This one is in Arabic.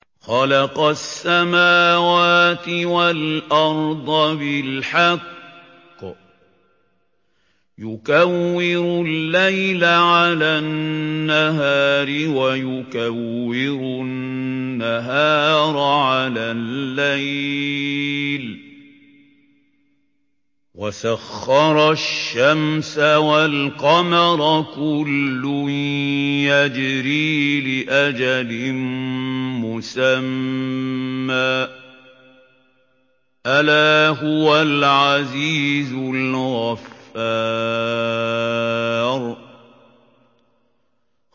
خَلَقَ السَّمَاوَاتِ وَالْأَرْضَ بِالْحَقِّ ۖ يُكَوِّرُ اللَّيْلَ عَلَى النَّهَارِ وَيُكَوِّرُ النَّهَارَ عَلَى اللَّيْلِ ۖ وَسَخَّرَ الشَّمْسَ وَالْقَمَرَ ۖ كُلٌّ يَجْرِي لِأَجَلٍ مُّسَمًّى ۗ أَلَا هُوَ الْعَزِيزُ الْغَفَّارُ